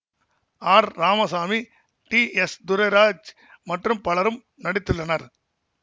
R Ramasamy T S Durairaj மற்றும் பலரும் நடித்துள்ளனர்